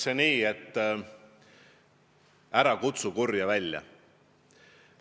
Öeldakse, et ära kutsu kurja välja.